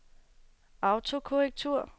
autokorrektur